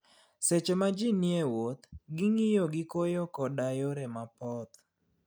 Seche ma ji ni e wuoth, ging'iyo gi koyo koda yore mapoth.